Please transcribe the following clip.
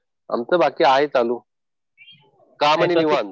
आमचं बाकी आहे चालू. कामं निवांत.